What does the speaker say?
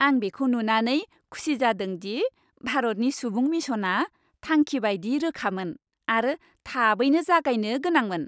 आं बेखौ नुनानै खुसि जादों दि भारतनि सुबुं मिशनआ थांखि बायदि रोखामोन आरो थाबैनो जागायनो गोनांमोन।